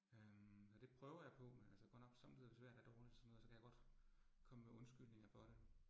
Øh og det prøver jeg på, men altså godt nok somme tider er det svært, er jeg dårlig til sådan noget, så kan jeg godt komme med undskyldninger for det